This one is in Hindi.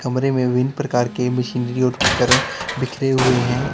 कमरे में विभिन्न प्रकार के मशीनरी उपकरण बिखरे हुए हैं।